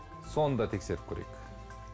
соны да тексеріп көрейік